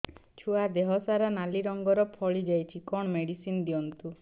ଛୁଆ ଦେହ ସାରା ନାଲି ରଙ୍ଗର ଫଳି ଯାଇଛି କଣ ମେଡିସିନ ଦିଅନ୍ତୁ